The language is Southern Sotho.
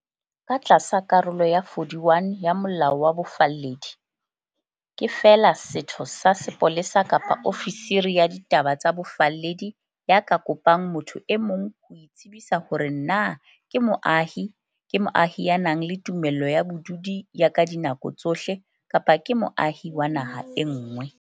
Ka tlasa Karolo ya 41 ya Molao wa Bofalledi, ke feela setho sa sepolesa kapa ofisiri ya ditaba tsa bofalledi ya ka kopang motho e mong ho itsebisa hore na ke moahi, ke moahi ya nang le tumello ya bodudi ya ka dinako tsohle, kapa ke moahi wa naha e nngwe.